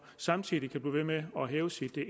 samtidig kan blive ved med at hæve sit